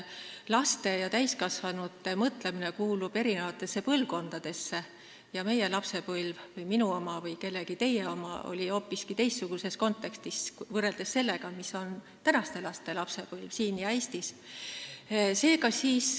Laste ja täiskasvanute mõtlemine kuulub eri põlvkondadesse ja meie või minu või kellegi teie lapsepõlv möödus hoopis teistsuguses kontekstis, kui möödub tänaste laste lapsepõlv siin Eestis.